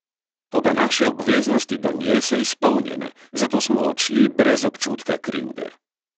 Toda naše obveznosti do nje so izpolnjene, zato smo odšli brez občutka krivde.